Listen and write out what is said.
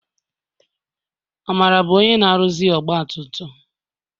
Amara bụ onye na-aruzi ọgbatumtum.